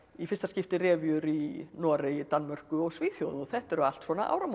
fyrsta skipti revíur í Noregi Danmörku og Svíþjóð og þetta eru allt svona